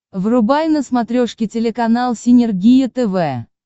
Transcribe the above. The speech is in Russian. врубай на смотрешке телеканал синергия тв